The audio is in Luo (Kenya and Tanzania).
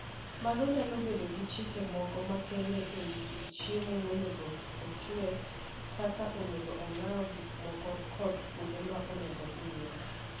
Mago nyalo bedo gi chike moko makende e wi kit chiemo monego ochwe, kaka onego ong'aw gik moko, kod kuonde ma onego odhiye.